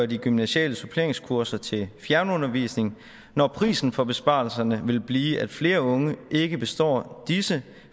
de gymnasiale suppleringskurser til fjernundervisning når prisen for besparelserne vil blive at flere unge ikke består disse